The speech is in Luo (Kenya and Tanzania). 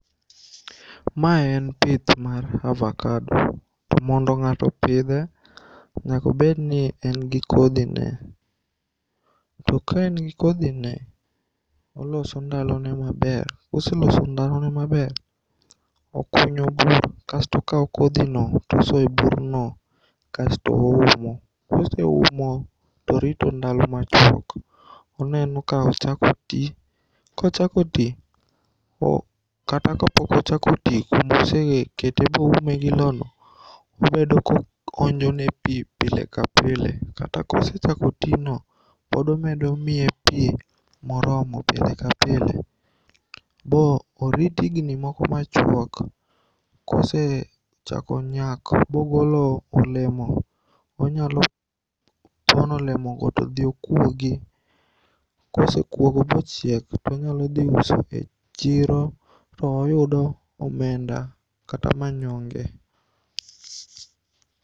Ma en pith mar avakado to mondo ng'ato opidhe nyakobedni engi kodhine. To ka engi kodhine oloso ndalone maber, koseloso ndalone maber okunyo bur kasto okao kodhino tosoyo e burno kasto oumo. Koseumo torito ndalo machuok toneno ka ochako tii .Kochako tii kata kapokochako tii kumosekete boume gii loo no obedo konjone pii pile ka pile. Kata kosechako tijno pod omedo miye pii moromo pile ka pile bo orit igni moko machuok kosechako nyak bogolo olemo onyalopono olemogo todhi okuogi kosekuogo bochiek tonyalodhiuso e chiro boyudo omenda kata manyonge.